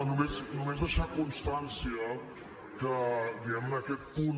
no només deixar constància que diguem ne aquest punt